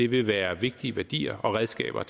vil være vigtige værdier og redskaber at